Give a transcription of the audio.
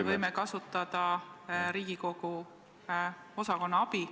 Me võime kasutada Riigikogu osakondade abi.